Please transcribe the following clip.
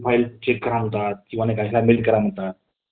स्तुती प्रमाणे अं घटक राज्याने अं संघ राज्य जिथे अं याच्या मध्ये राज्यसभेचा